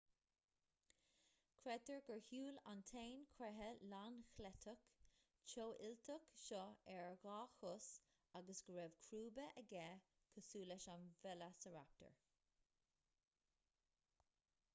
creidtear gur shiúil an t-éan creiche lánchleiteach teofhuilteach seo ar dhá chos agus go raibh crúba aige cosúil leis an veileasaraptar